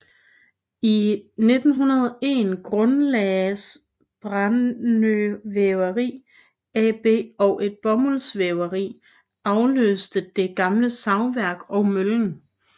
I 1901 grundlagdes Brännö Väveri AB og et bomuldsvæveri afløste det gamle savværk og møllen